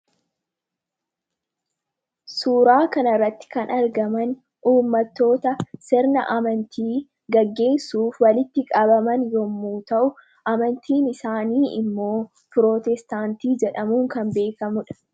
Suuraa kanarratti kan argaman ummattota sirna amantii gaggeessuuf walitti qabaman yommu ta'u amantiin isaanii immoo pirootestaantii jedhamuun kan beekamudha.